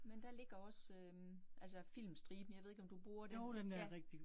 Men der ligger også øh altså Filmstriben, jeg ved ikke, om du bruger den? Ja